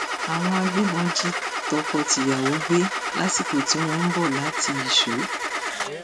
àwọn agbébọn jí tọkọtìyàwó gbé lásìkò tí wọn ń bọ láti ìṣó